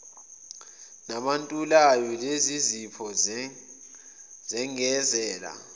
nabantulayo lezizipho zengezela